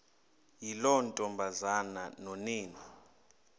yiloo ntombazana nonina